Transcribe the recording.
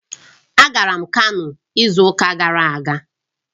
Agara m Kano izu uka gara aga